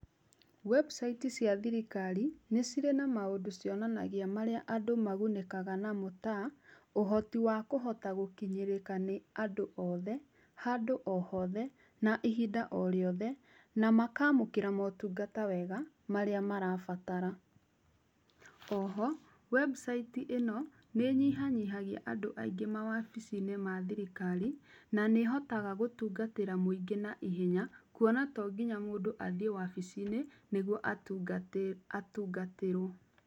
Website cia thirikari nĩ cirĩ na maũndũ cionanagia marĩa andũ magunĩkaga na mo ta, ũhoti wa kũhota gũkinyĩrĩka nĩ andũ othe handũ o hothe na ihinda o rĩothe na makamũkĩra motungata wega marĩa marabatara. Oho, website ĩno nĩ ĩnyihanyihagia andũ aingĩ mawabici-inĩ mathirikari na nĩhotaga gũtungatĩra mũingĩ na ihenya kuona tonginya mũndũ athiĩ wabici-inĩ nĩguo atungatirwo.